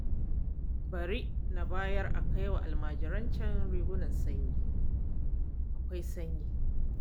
Bari na bayar a kai wa almajirancan rigunan sanyi, akwai sanyi!